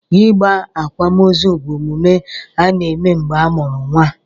Ịgba akwamozu bụ omume a na-eme mgbe a mụrụ nwa.